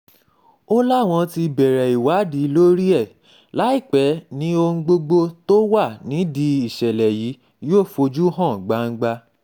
ó láwọn um ti bẹ̀rẹ̀ ìwádìí lórí ẹ̀ láìpẹ́ ni ohun gbogbo um tó wà nídìí ìṣẹ̀lẹ̀ yìí yóò fojú hàn gbangba